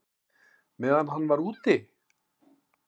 Meðan hann var úti?